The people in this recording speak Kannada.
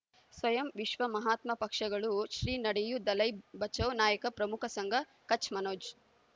ಸ್ವಯಂ ವಿಶ್ವ ಮಹಾತ್ಮ ಪಕ್ಷಗಳು ಶ್ರೀ ನಡೆಯೂ ದಲೈ ಬಚೌ ನಾಯಕ ಪ್ರಮುಖ ಸಂಘ ಕಚ್ ಮನೋಜ್